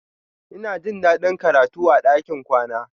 Ina jin daɗin karatu a ɗakin kwana.